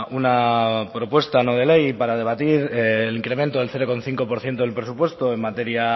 una propuesta no de ley para debatir el incremento del cero coma cinco por ciento del presupuesto en materia